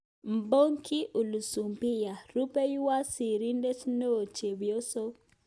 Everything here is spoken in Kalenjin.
Mpoki Ulisubisya. Rupeiywot sirindeet neo-chepyoso